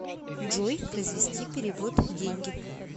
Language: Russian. джой произвести перевод деньги